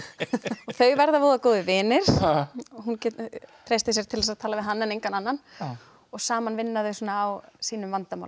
þau verða voða góðir vinir hún treystir sér til að tala við hann en engan annan saman vinna þau svona á sínum vandamálum